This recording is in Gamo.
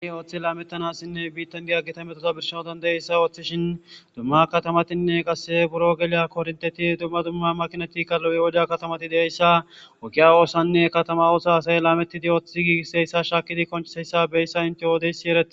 ni ooththi laamettanassinne biittan geaggita metosa birshao dandayeyssa ooththishin dumma katamatinne qasse buro geleya kornteti dumma dumma makinatika lo7iwoda katamati deeyssa wokiya woossanne katama oosa asay laametidi ooththi gigiseyssa shaakidi koseyssa beyssa inte oodeysi erei